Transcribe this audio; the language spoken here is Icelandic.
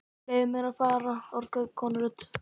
Leyfið mér að fara orgaði konurödd.